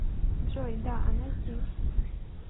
джой да она здесь